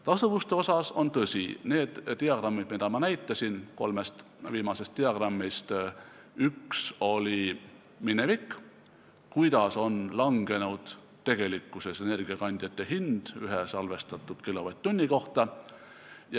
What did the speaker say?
Tasuvusest rääkides, on tõsi, et ühel kolmest diagrammist, mida ma näitasin, kujutas üks minevikku, seda, kuidas on langenud energiakandjate hind ühe salvestatud kilovatt-tunni kohta.